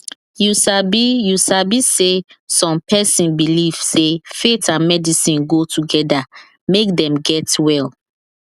you sabi you sabi saysome person believe say faith and medicine go together make dem get well